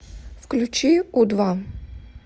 включи у два